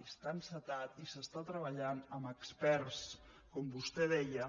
i està encetat i s’està treballant amb experts com vostè deia